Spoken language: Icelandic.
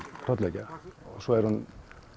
hrollvekja svo er hún